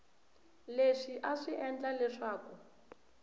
leswi a swi endla leswaku